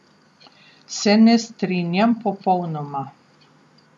Se ne strinjam popolnoma.